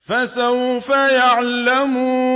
فَسَوْفَ يَعْلَمُونَ